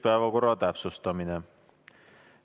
Päevakorra täpsustamine.